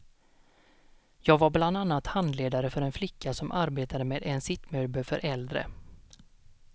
Jag var bland annat handledare för en flicka som arbetade med en sittmöbel för äldre.